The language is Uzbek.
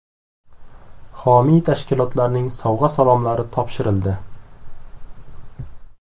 Homiy tashkilotlarning sovg‘a-salomlari topshirildi.